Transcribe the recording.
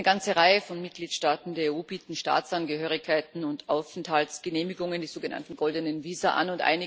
Eine ganze Reihe von Mitgliedstaaten der EU bietet Staatsangehörigkeiten und Aufenthaltsgenehmigungen, die sogenannten goldenen Visa, an.